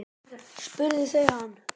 spurðu þau hann.